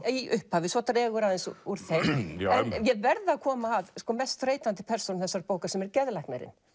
í upphafi svo dregur aðeins úr úr þeim en ég verð að koma að mest þreytandi persónu þessarar bókar sem er geðlæknirinn